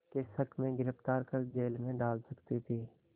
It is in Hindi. के शक में गिरफ़्तार कर जेल में डाल सकती थी